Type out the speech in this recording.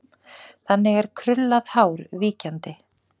Þannig er krullað hár víkjandi.